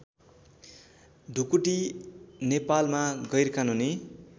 ढुकुटी नेपालमा गैरकानूनी